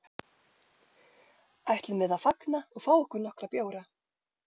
Ætlum við að fagna og fá okkur nokkra bjóra?